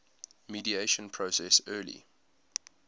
mediation process early